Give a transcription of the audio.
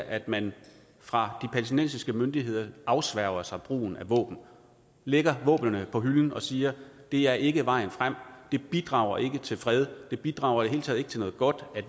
at man fra de palæstinensiske myndigheders afsværger sig brugen af våben lægger våbnene på hylden og siger det er ikke vejen frem det bidrager ikke til fred det bidrager i det hele taget ikke til noget godt at vi